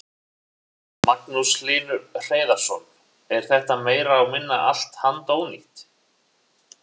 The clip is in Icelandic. Magnús Hlynur Hreiðarsson: Er þetta meira og minna allt handónýtt?